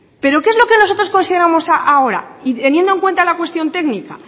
pero qué es lo que nosotros consideramos ahora y teniendo en cuenta la cuestión técnica